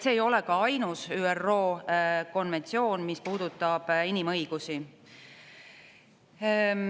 See ei ole ainus ÜRO konventsioon, mis puudutab inimõigusi.